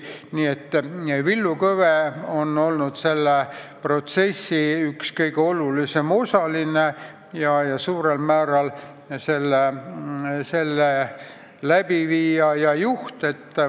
Villu Kõve on olnud selle protsessi üks kõige olulisem osaline, suurel määral selle elluviija ja juht.